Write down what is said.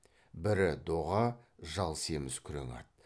бірі доға жал семіз күрең ат